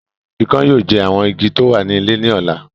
Ikán yóò jẹ àwọn Igi tí o wà ní ilẹ̀ ní ọ̀la